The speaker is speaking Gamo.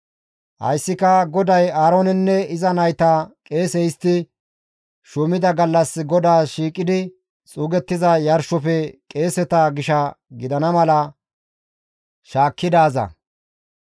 Hayssika GODAY Aaroonenne iza nayta qeese histti shuumida gallas GODAAS shiiqidi xuugettiza yarshofe qeeseta gisha gidana mala shaakkidaaza.